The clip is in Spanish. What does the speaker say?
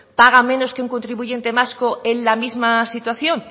paga menos que un contribuyente vasco en la misma situación